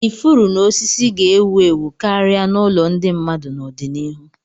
Ifuru na osisi ga-ewu ewu karịa n'ụlọ ndị mmadụ n'ọdịnihu.